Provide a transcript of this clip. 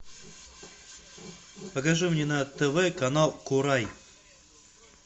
покажи мне на тв канал курай